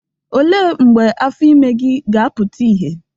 Olee mgbe afọ ime gị ga-afụta ihe?